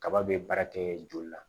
Kaba be baara kɛ joli la